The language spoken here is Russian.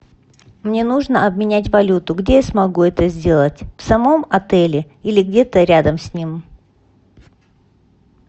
мне нужно обменять валюту где я смогу это сделать в самом отеле или где то рядом с ним